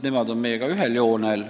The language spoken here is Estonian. Nemad on meiega ühel platvormil.